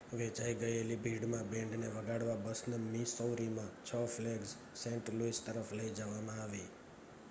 વેચાઈ ગયેલી ભીડમાં બેન્ડને વગાડવા બસને મિસૌરીમાં 6 ફ્લેગ્સ સેન્ટ લૂઇસ તરફ લઈ જવામાં આવી